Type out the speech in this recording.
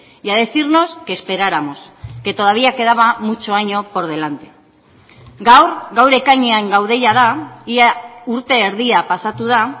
y a decirnos que esperáramos que todavía quedaba mucho año por delante gaur gaur ekainean gaude jada ia urte erdia pasatu da